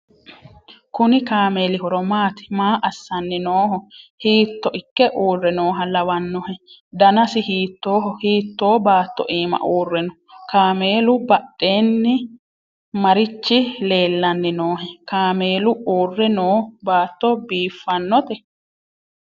kuni kaameeli horo maati? maa assanni nooho? hiitto ikke uurre nooha lawannohe? danasi hiittoho? hiitto baatto iima uurre no?kaameelu badheennimarichi leellanni noohe? kaameelu uurre noo baatto biiffannote?